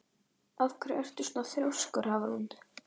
Af hverju ertu svona þrjóskur, Hafrún?